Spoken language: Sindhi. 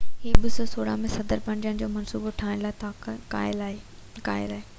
هي 2016 ۾ صدر بڻجڻ جو منصوبو ٺاهڻ لاءِ قائل آهي